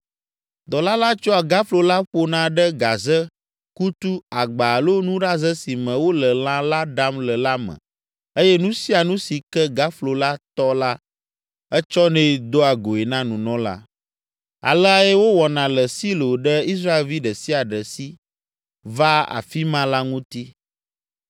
Dɔla la tsɔa gaflo la ƒona ɖe gaze, kutu, agba alo nuɖaze si me wole lã la ɖam le la me eye nu sia nu si ke gaflo la tɔ la etsɔnɛ doa goe na nunɔla. Aleae wowɔna le Silo ɖe Israelvi ɖe sia ɖe si vaa afi ma la ŋuti.